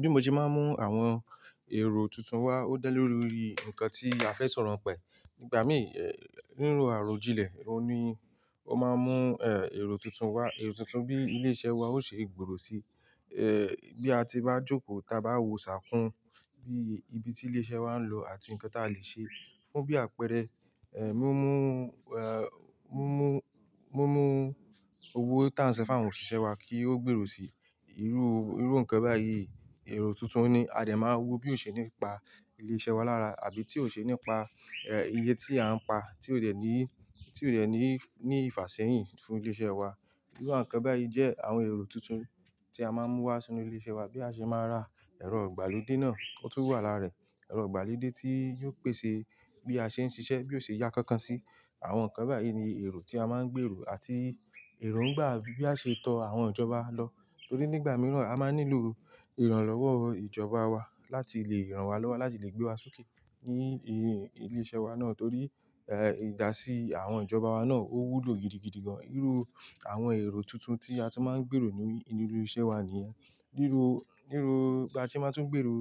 Bí mo ṣe máa ń mú àwọn èrò tuntun wá ó dálé lórí ńǹkan tí a fẹ́ sọ̀rọ̀ ni pa e. Ìgbà mìí, ri ro àròjinlẹ̀, òun ní ó máa ń mú, ẹ́, èrò tuntun wá. Èrò tuntun bí ilé-iṣẹ́ wa ó ṣe gbòòrò si. Ẹ̀, bí a ti bá jókòó, ta bá wò ṣákú, bí ibi tí ilé-iṣẹ́ wa ń lò àti ǹkan tí a lè ṣe fún bí àpẹẹrẹ, ẹ́, mí mú, ẹ́, mí mú, mí mú gbogbo owó tí à ń san fún àwọn òṣìṣẹ́ wa kí ó gbèrò si. Ẹ̀, irú ǹkan báyìí, èrò tuntun ni a de máa wo bí ó ṣe ní pa ilé-iṣẹ́ wa lára àbí tí ó ṣe ní pa, ẹ́, iye tí a ń pa tí ó dẹ̀ ní, tí ó dẹ̀ ní, ní ìfàṣẹ́yìn fún ilé-iṣẹ́ wa. Irú àwọn ǹkan báyìí jẹ́ àwọn èrò tuntun tí a máa ń mú wá sínú ilé-iṣẹ́ wa bí a ṣe máa ra ẹ̀rọ ìgbàlódé náà o tun wà lára ẹ̀. Ẹ̀rọ ìgbàlódé tí yiò pèsè bí a ṣe ń ṣiṣẹ́, bí ó ṣe yá kankan si. Àwọn ǹkan báyìí ni èrò tí a máa ń gbèrò àti èrò ńgbà bí a ṣe tọ àwọn ìjọba lọ. Torí nígbà mìíràn a máa ń nílò ìrànlọ́wọ́ ìjọba wa láti lè ran wa lọ́wọ́, láti lè gbé wa sókè ní ilé-iṣẹ́ wa náà torí, ẹ́, ìdásí àwọn ìjọba wa náà ó wúlò gidigidi gan-an. Irú àwọn èrò tuntun tí a tí máa ń gbèrò ní inú ilé-iṣẹ́ wà níyẹn. Ni irú, ni irú bí a ṣe máa ń tún gbèrò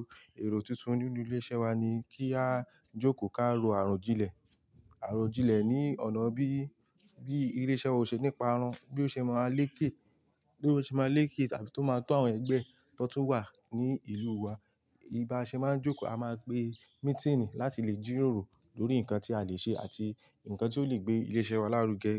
èrò tuntun nínú ilé-iṣẹ́ wa ni kí á jókòó ká rò àròjinlẹ̀. Àròjinlẹ̀ ní ọ̀nà bí, bí ilé-iṣẹ́ wa ó ṣe níparun, bí ó ṣe máa leké, bí ó ṣe máa leké àbí tó máa tó àwọn ẹgbẹ́ tó tún wà ní ìlú wa. Bí a ṣe máa ń jókòó, a máa pe mítínì láti lè jírórò lórí ǹkan tí a lè ṣe àti ǹkan tí ó lè gbé ilé-iṣẹ́ wa lárugẹ.